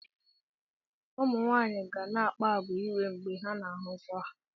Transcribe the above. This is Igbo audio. ụmụ nwaanyị ga na-akpa àgwà iwe mgbe ha na-ahụ nsọ ha